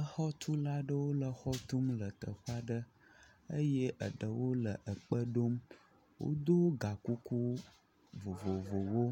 Exɔtula aɖewo le exɔ tum le teƒe aɖe eye eɖewo le ekpe ɖom, wodo ga kukuwo vovovowo,